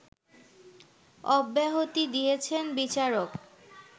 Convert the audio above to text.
অব্যাহতি দিয়েছেন বিচারক